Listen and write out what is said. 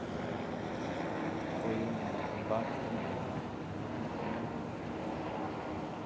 Isso foi um um baque tremendo na minha vida, um arrependimento.